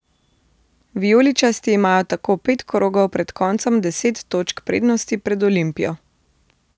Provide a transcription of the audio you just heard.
Vijoličasti imajo tako pet krogov pred koncem deset točk prednosti pred Olimpijo.